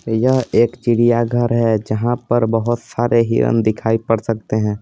यह एक चिड़िया घर है जहां पर बहुत सारे हिरण दिखाई पड़ सकते हैं।